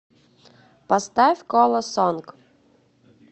поставь кола сонг